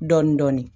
Dɔɔnin dɔɔnin